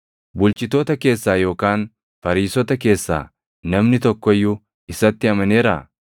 Bulchitoota keessaa yookaan Fariisota keessaa namni tokko iyyuu isatti amaneeraa?